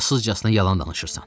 Həyasızcasına yalan danışırsan.